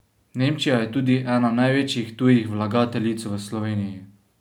Nemčija je tudi ena največjih tujih vlagateljic v Sloveniji.